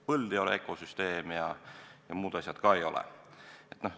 Põld ei ole ökosüsteem ja muud asjad ka ei ole.